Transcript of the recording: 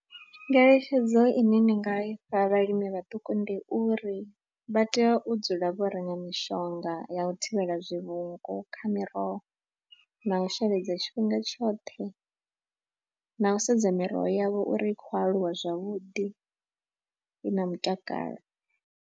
Ngeletshedzo ine nda nga ifha vhalimi vhaṱuku ndi uri vha tea u dzula vho renga mishonga ya u thivhela zwivhungu kha miroho na u sheledza tshifhinga tshoṱhe na u sedza miroho yavho uri i khou aluwa zwavhuḓi i na mutakalo.